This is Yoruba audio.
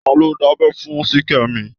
Ta ló dábẹ́ fún Ṣìkẹ́mi?